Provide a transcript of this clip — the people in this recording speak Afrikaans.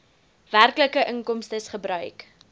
werklike inkomstes gebruik